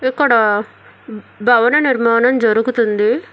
ఇక్కడ భవన నిర్మాణం జరుగుతుంది.